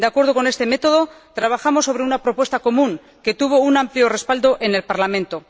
De acuerdo con este método, trabajamos sobre una propuesta común que tuvo un amplio respaldo en el Parlamento.